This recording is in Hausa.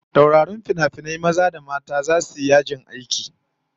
Taurarin finafinai maza da mata zasu yi yajin aiki